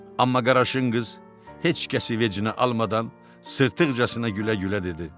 Amma Qaraşın qız heç kəsi vecinə almadan sırtıqcasına gülə-gülə dedi.